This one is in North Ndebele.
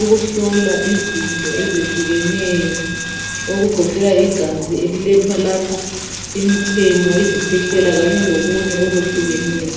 ukuhlola izinto ezehlukeneyo okugoqela igazi elilethwa lapha ,imichemo ,izikhwehlela kanye lokunye okwehlukeneyo.